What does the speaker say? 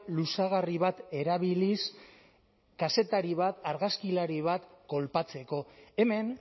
luzagarri bat erabiliz kazetari bat argazkilari bat kolpatzeko hemen